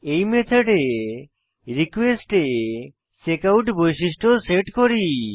এই মেথডে রিকোয়েস্ট এ চেকআউট বৈশিষ্ট্য সেট করি